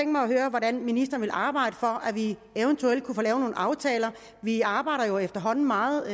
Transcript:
mig at høre hvordan ministeren vil arbejde for at vi eventuelt kunne få lavet nogle aftaler vi arbejder jo efterhånden meget